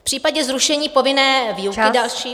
V případě zrušení povinné výuky další...